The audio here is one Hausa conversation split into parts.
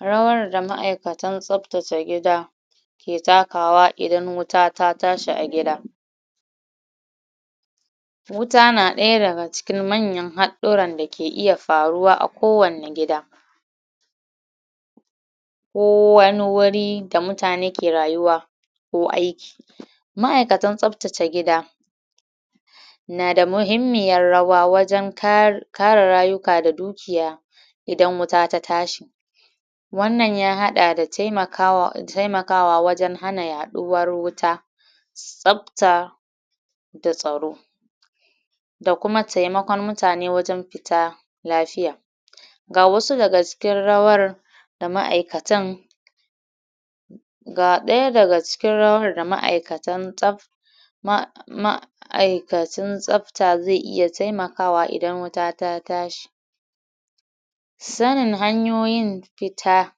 rawar da ma'aikatan tsaftace gida ke takawa idan wuta ta tashi a gida wuta na daya daga cikin manyan hadduran da ke iya faruwa a kowani gida ko wani wuri da mutane ke rayuwa ko aiki ma'aikatan tsaftace gida nada muhimmiyar rawa waje kar kare rayuka da dukiya idan wuta ta tashi wannan ya hada da temakawa temakawa wajen hana yaduwar wuta tsafta da tsaro da kuma temakon mutane wajen futa lafiya gawasu daga cikin rawar da ma'aikatan ga daya daga cikin rawar da ma; aikatan tsaf ma ma ma'aikatan tsafta tsafta ze iya temakawa idan wuta ta tashi sanin hanyoyin fita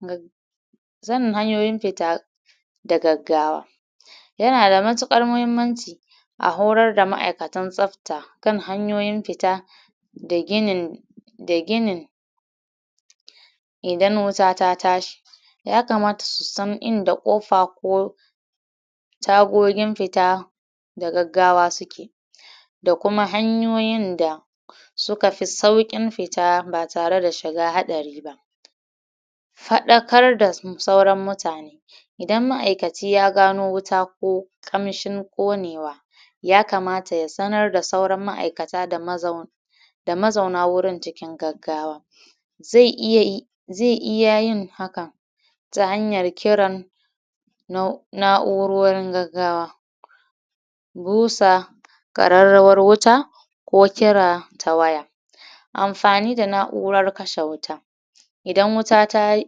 ga sanin hanyoyin fita da gaggawa yana da matukar muhimmanci a horar da ma'aikatan tsafta kan hanyoyin fita da ginin da ginin idan wuta ta tashi ya kamata su san inda kofa ko ta gogin fita da gaggawa suke da kuma hanyoyin da suka fi saurin fita batare da shiga hadari ba fadakar da sauran mutane idan ma'aikaci ya gano wuta ko kamshin konewa ya kamata ya sanar da sauran ma'aikata da mazauna da mazauna wurin cikin gaggawa ze iya yi ze iya yin haka ta hanyar kirar na na'urorin gaggawa busa kararrawar wuta ko kira ta waya anfa ni da na'urar kashe wuta idan wuta tayi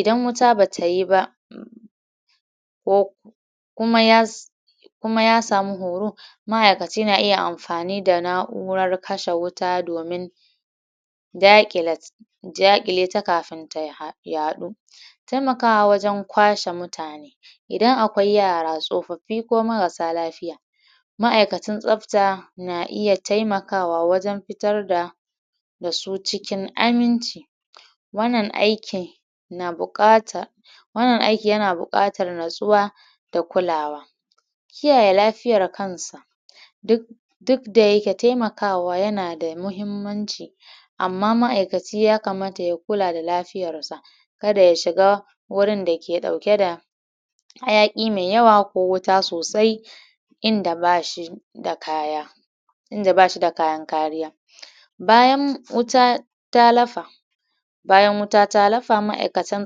idan wuta batayi ba ko kuma yas kuma yasamu horo ma'aikaci na iya amfani da na'urar kashe wuta domin dakile dakile ta kafin ta had yadu temakawa wajen kwashe mutane idan akwai yara tsofaffi ko marasa lafiya ma'aikacin tsafta na iya temkawa wajen fitar da da su cikin aminci wannan aikin na bukatar wannan aiki yana bukatan natssuwa da kulawa kiyaye lafiyar kansa duk duk daya ke temakawa yana da muhimmanci amma ma'aikaci ya kamarta ya kula da lafiyar sa kada ya shiga wurin da ke dauke da hayaki me yawa ko wuta sosai inda bashi da kaya inda bashi da kayan kariya bayan wuta ta lafa bayan wuta ta lafa ma'aikatan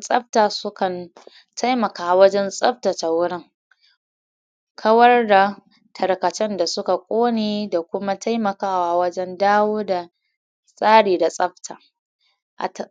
tsafta sukan temaka wajen tsafta ce wurin kawar da tarkacen da suka kone da kuma kuma tema kawa wajen dawo da tsari da tsafta atab